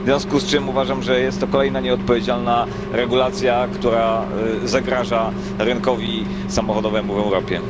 W związku z tym uważam, że jest to kolejna nieodpowiedzialna regulacja, która zagraża rynkowi samochodowemu w Europie.